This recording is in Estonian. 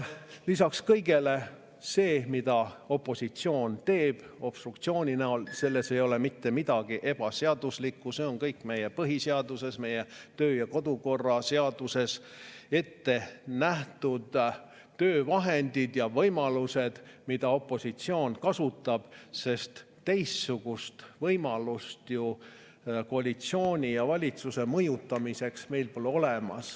Lisaks kõigele: selles, mida opositsioon teeb obstruktsiooni näol, ei ole mitte midagi ebaseaduslikku, need on kõik meie põhiseaduses, meie töö‑ ja kodukorra seaduses ette nähtud töövahendid ja võimalused, mida opositsioon kasutab, sest teist võimalust ju koalitsiooni ja valitsuse mõjutamiseks meil pole.